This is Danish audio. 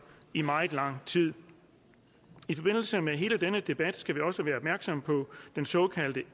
i meget lang tid i forbindelse med hele denne debat skal vi også være opmærksomme på den såkaldte